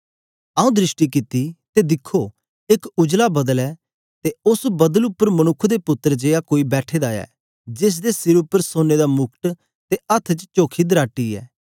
आऊँ दृष्टि कित्ती ते दिखो एक उजला बदल ऐ ते उस्स बदल उपर मनुक्ख दे पुत्तर जेया कोई बैठे दा ऐ जेसदे सिर उपर सोने दा मुकट ते हत्थ च चोखी दराटी ऐ